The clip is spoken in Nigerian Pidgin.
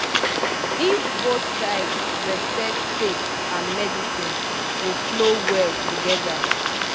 if both sides respect faith and medicine go flow well together